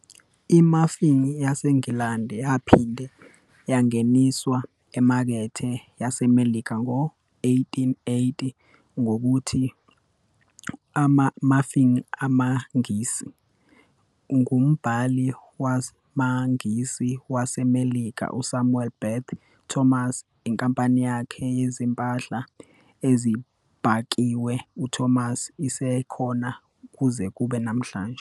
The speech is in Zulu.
I-muffin yaseNgilandi yaphinde yangeniswa emakethe yaseMelika ngo-1880 ngokuthi "ama-muffin amaNgisi" ngumbhaki wamaNgisi waseMelika uSamuel Beth Thomas, inkampani yakhe yezimpahla ezibhakiwe uThomas isekhona kuze kube namuhla.